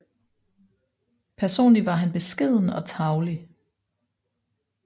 Personlig var han beskeden og tarvelig